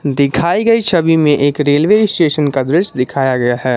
दिखाई गई छवि में एक रेलवे स्टेशन का दृश्य दिखाया गया है।